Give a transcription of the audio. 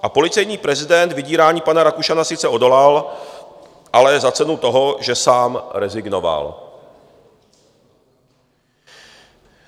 A policejní prezident vydírání pana Rakušana sice odolal, ale za cenu toho, že sám rezignoval.